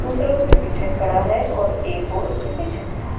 दूसरा उसके पीछे खड़ा है और एक और उसके पीछे खड़ा--